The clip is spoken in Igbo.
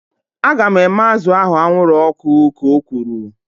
Aga m eme azụ ahu anwụrụ ọkụ ka o kwuru